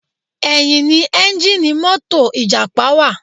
Ẹ̀yìn ni ẹ́ńjíìnnì mọ́tò ìjàpá wà.